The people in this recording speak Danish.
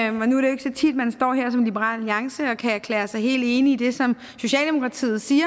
jo ikke så tit man står her som liberal alliance og kan erklære sig helt enige i det som socialdemokratiet siger